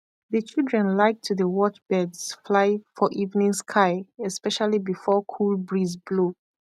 the children like to dey watch birds fly for evening sky especially before cool breeze blow